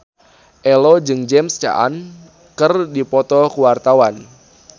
Ello jeung James Caan keur dipoto ku wartawan